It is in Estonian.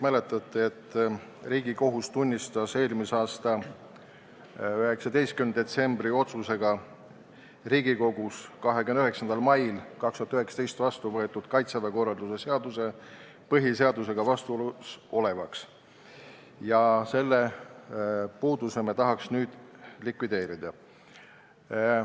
Te kõik mäletate, et Riigikohus tunnistas eelmise aasta 19. detsembri otsusega 29. mail 2019 Riigikogus vastu võetud Kaitseväe korralduse seaduse põhiseadusega vastuolus olevaks, ja me tahaks selle puuduse nüüd likvideerida.